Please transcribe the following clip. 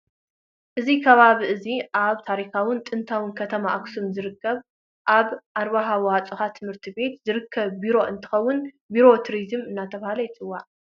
እዚ ከባቢ እዚ ኣብ ታሪካውዊትን ጥንታዊትን ከተማ ኣክሱም ዝርከብ ኣብ ኣብራሃ ወኣፅበሃ ትምህርቲ ቤት ዝርከብ ቢሮ እንትከውን ቢሮ ቱሪዝምን እንዳተባሃለ የፅዋዕ።